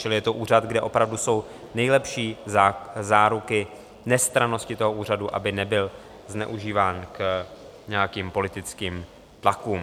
Čili je to úřad, kde opravdu jsou nejlepší záruky nestrannosti toho úřadu, aby nebyl zneužíván k nějakým politickým tlakům.